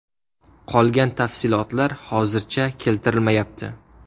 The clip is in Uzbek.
Qolgan tafsilotlar hozircha keltirilmayapti.